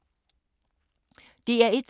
DR1